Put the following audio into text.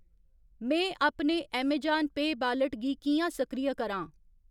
में अपने Amazon Pay wallet गी कि'यां सक्रिय करां ?